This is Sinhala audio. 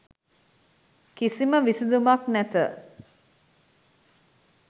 කිසිම විසදුමක් නැත